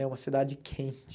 É uma cidade quente.